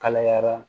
Kalayara